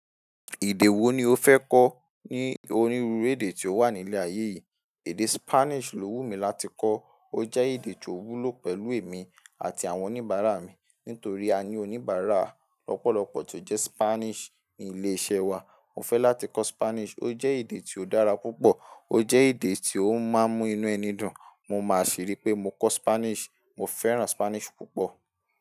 Èdè wo ni o fẹ́ kọ́ ní onírúurú èdè tí ó wà ní ilẹ̀ ayé yìí? Èdè Spanish ló wù mí láti kọ́. Ó jẹ́ èdè tí ó wúlò pẹ̀lú èmi àti àwọn oníbàárà mi nítorí a ní oníbàárà lọ́pọ̀lọ́pọ̀ tó jẹ́ Spanish ní ilé-iṣẹ́ wa. Mo fẹ́ láti kọ́ Spanish. Ó jẹ́ èdè tí ó dára púpọ̀, ó jẹ́ èdè tí ó máa ń mú inú ẹni dùn. Mo máa ṣerí pé mo kọ́ Spanish. Mo fẹ́ràn Spanish púpọ̀.